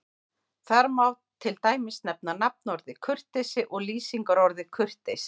Þar má til dæmis nefna nafnorðið kurteisi og lýsingarorðið kurteis.